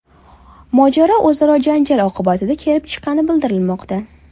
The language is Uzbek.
Mojaro o‘zaro janjal oqibatida kelib chiqqani bildirilmoqda.